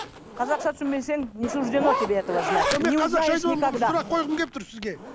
қазақша түсінбесең не суждено тебе этого знать сұрақ қойғым келіп тұр сізге